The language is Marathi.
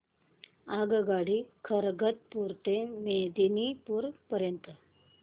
आगगाडी खरगपुर ते मेदिनीपुर पर्यंत